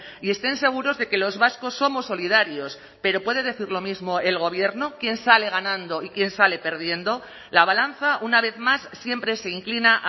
y estén seguros de que los vascos somos solidarios pero puede decir lo mismo el gobierno quién sale ganando y quién sale perdiendo la balanza una vez más siempre se inclina